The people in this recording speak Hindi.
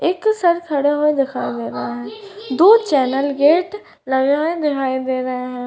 एक सर खड़े हुए दिखाई दे रहे है दो चैनल गेट लगे हुए दिखाई दे रहे हैं।